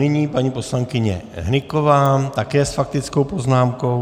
Nyní paní poslankyně Hnyková také s faktickou poznámkou.